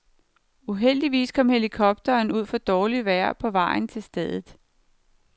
Uheldigvis kom helikopteren ud for dårligt vejr på vejen til stedet.